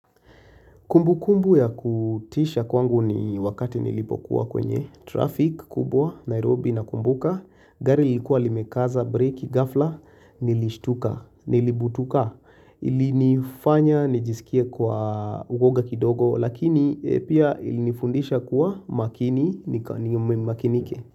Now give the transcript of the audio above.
Kumbu kumbu ya kutisha kwangu ni wakati nilipokuwa kwenye traffic kubwa Nairobi na kumbuka. Gari ilikuwa limekaza, break, gafla, nilishtuka, nilibutuka. Ilinifanya, nijisikie kwa uwoga kidogo lakini pia ilinifundisha kuwa makini nikaniyumemi makinike.